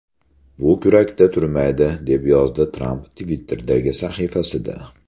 Bu kurakda turmaydi”, deb yozdi Tramp Twitter’dagi sahifasida.